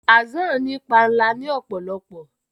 Hassan ní panla ni òpòlopò